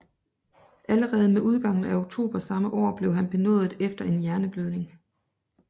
Allerede med udgangen af oktober samme år blev han benådet efter en hjerneblødning